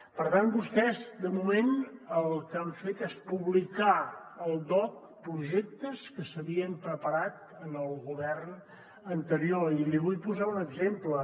per tant vostès de moment el que han fet és publicar al dogc projectes que s’havien preparat en el govern anterior i li vull posar un exemple